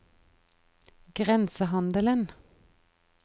grensehandelen